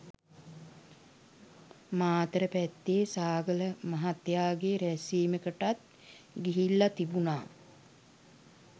මාතර පැත්තේ සාගල මහත්තයාගේ රැස්වීමකටත් ගිහිල්ලා තිබුණා